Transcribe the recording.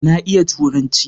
Na iya Turanci.